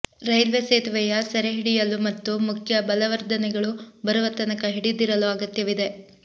railway ಸೇತುವೆಯ ಸೆರೆಹಿಡಿಯಲು ಮತ್ತು ಮುಖ್ಯ ಬಲವರ್ಧನೆಗಳು ಬರುವ ತನಕ ಹಿಡಿದಿಡಲು ಅಗತ್ಯವಿದೆ